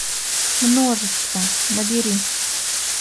множество набери